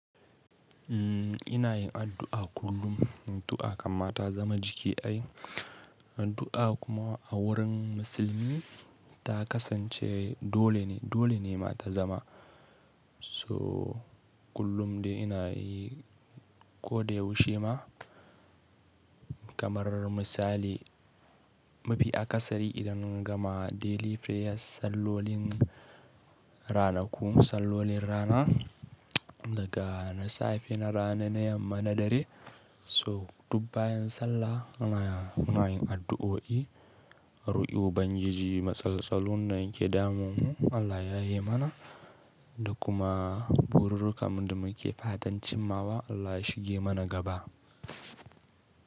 Ina yin addu'a kullum. Addu'a akam ma ta zama jiki ai. Addu'a kuma a wurin musulmi ta kasance dole ne, dole ne ma ta zama. So kullum dai ina yi ko da yaushe ma. Kamar misali, mu fi akasari idan mun gama daily prayers, sallolin ranaku, sallolin rana, daga na safe, na rana, na yamma, na dare. So duk bayan sallah muna yin addu'o'i, roƙi ubangiji matsaltsalun nan da ke damuwa Allah ya yaye mana da kuma bururrukan mu da muke fatan cimmawa Allah ya shige mana gaba.